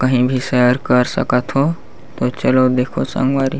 कही भी सैर कर सकथ हो चलो देखो संगवारी--